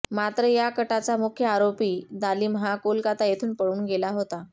मात्र या कटाचा मुख्य आरोपी दालिम हा कोलकाता येथून पळून गेला होता